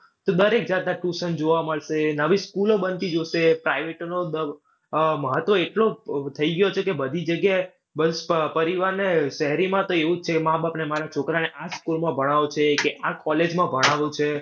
તો દરેક જાતના tuition જોવા મળશે, નવી school ઓ બનતી જોશે, private નો દ આહ મહત્વ એટલો ઉહ થઈ ગયો છે કે બધી જગ્યાએ, બસ પરિવારને, શહેરીમાં તો એવું જ છે માબાપને, મારા છોકરાને આ જ school માં જ ભણાવો છે કે આ જ college માં ભણાવો છે